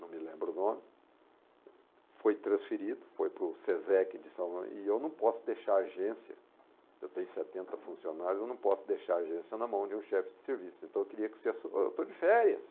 não me lembro o nome, foi transferido, foi para o Sesec de São Paulo, e eu não posso deixar a agência, eu tenho setenta funcionários, eu não posso deixar a agência na mão de um chefe de serviço, então eu queria que você su... Eu estou de férias,